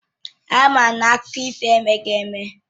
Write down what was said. Àma m na akụkọ ifo emeghị eme